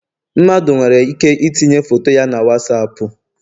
Mmadụ nwere ike itinye foto ya na Wasapu